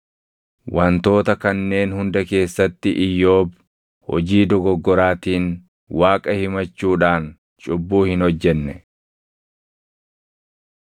Wantoota kanneen hunda keessatti Iyyoob hojii dogoggoraatiin Waaqa himachuudhaan cubbuu hin hojjenne.